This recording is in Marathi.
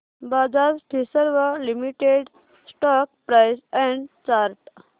Bajaj Finserv limited stock price and chart